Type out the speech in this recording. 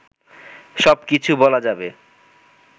সব কিছু বলা যাবে